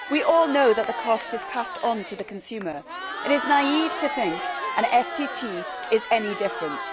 We all know that the cost is passed on to the consumer and it is naive to think an FTT is any different.